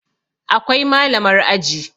Akwai Malamar aji